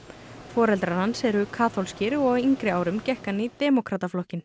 foreldarar hans eru kaþólskir og á yngri árum gekk hann í